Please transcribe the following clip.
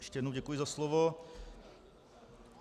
Ještě jednou děkuji za slovo.